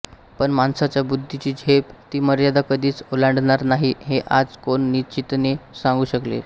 पण माणसाच्या बुद्धीची झेप ती मर्यादा कधीच ओलांडणार नाही हे आज कोण निश्चितीने सांगू शकेल